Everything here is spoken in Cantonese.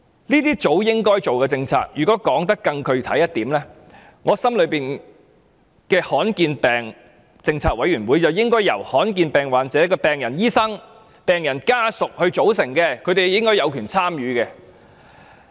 這是早應該做的政策，如果說得更具體一點，我心目中的罕見疾病政策委員會應由罕見疾病患者的醫生及病人家屬組成，他們應該有權參與。